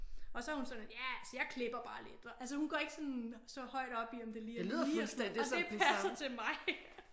Og så er hun sådan ja altså jeg klipper bare lidt og altså hun går ikke sådan så højt op i om det er lige er lige og sådan noget og det passer til mig